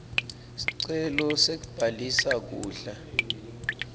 sicelo sekubhalisa kudla